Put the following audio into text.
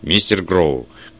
мистер гроу